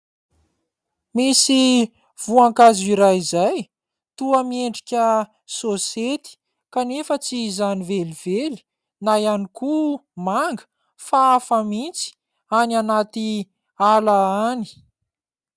Misy voankazo iray izay toa miendrika saosety kanefa tsy izany velively, na ihany koa manga fa hafa mihintsy any anaty ala any.